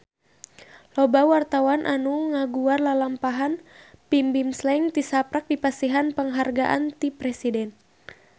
Loba wartawan anu ngaguar lalampahan Bimbim Slank tisaprak dipasihan panghargaan ti Presiden